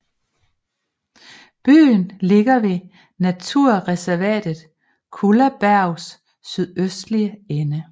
Byen ligger ved naturreservatet Kullabergs sydøstlige ende